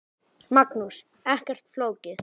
Magnús: Ekkert flókið?